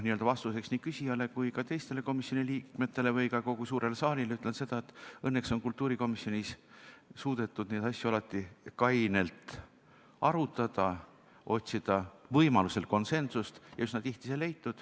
Vastuseks nii küsijale kui ka teistele komisjoni liikmetele või ka kogu suurele saalile ütlen seda, et õnneks on kultuurikomisjonis suudetud neid asju alati kainelt arutada, otsida võimaluse korral konsensust ja üsna tihti see leida.